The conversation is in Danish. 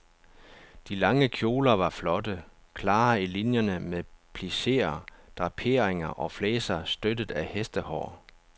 De lange kjoler var flotte, klare i linierne med plisseer, draperinger og flæser støttet af hestehår.